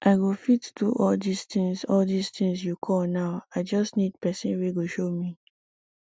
i go fit do all dis things all dis things you call now i just need person wey go show me